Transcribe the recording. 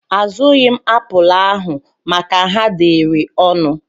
Azụghi m apụl ahụ maka ha dịịrị ọnụ.